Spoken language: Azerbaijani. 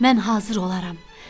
Mən hazır olaram.